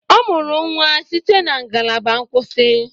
Ọ mụrụ nwa site na ngalaba nkwụsị